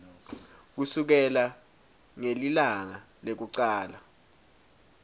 kusukela ngelilanga lekucala